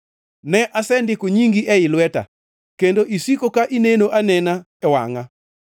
Ne, asendiko nyingi ei lweta kendo isiko ka ineno anena e wangʼa.